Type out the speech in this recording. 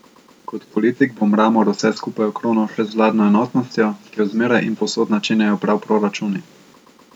Kot politik bo Mramor vse skupaj okronal še z vladno enotnostjo, ki jo zmeraj in povsod načenjajo prav proračuni.